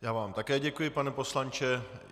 Já vám také děkuji, pane poslanče.